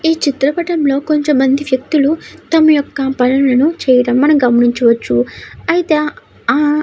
ఈ చిత్రపటం లో కొంతమంది వ్యక్తులు తమ యొక్క పనులను చేయడం మన గమనించవచ్చు. అయితే --